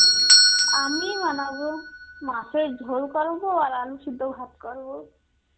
আমিই বানাবো, মাছের ঝোল করব আর আলু সেদ্ধ ভাত করব.